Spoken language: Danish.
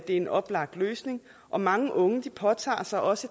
en oplagt løsning og mange unge påtager sig også